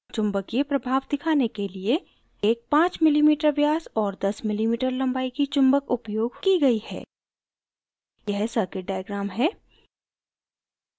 चुम्बकीय प्रभाव दिखाने के लिए एक 5mm व्यास और 10mm लम्बाई की चुम्बक उपयोग की गयी है